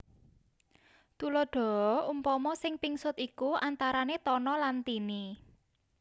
Tuladaha Umpama sing pingsut iku antarane Tono lan Tini